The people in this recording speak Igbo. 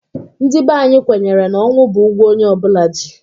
Ndị bè anyị kwenyere na ọnwụ bụ ụgwọ onye ọ bụla ji.